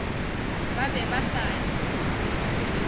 ba be ba sa di